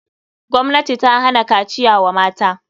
Gwamnati ta hana kaciya wa mata.